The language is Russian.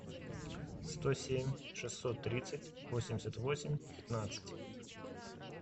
сто семь шестьсот тридцать восемьдесят восемь пятнадцать